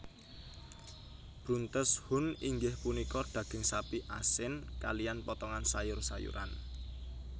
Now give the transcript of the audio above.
Bruntes Huhn inggih punika daging sapi asin kaliyan potongan sayur sayuran